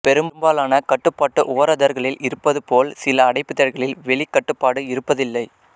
பெரும்பாலான கட்டுப்பாட்டு ஓரதர்களில் இருப்பது போல் சில அடைப்பிதழ்களில் வெளிக் கட்டுப்பாடு இருப்பதில்லை